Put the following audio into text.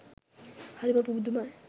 හරි පුදුමයි!